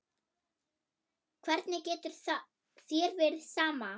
Hvernig getur þér verið sama?